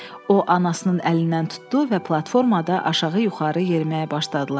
O, anasının əlindən tutdu və platformada aşağı-yuxarı yeriməyə başladılar.